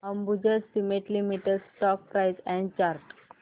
Ambuja cement limited stock price and chart